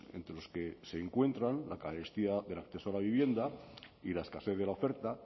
entre los que se encuentran la carestía del acceso a la vivienda y la escasez de la oferta